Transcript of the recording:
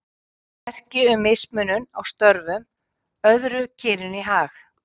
Það er merki um mismunun á störfum, öðru kyninu í hag.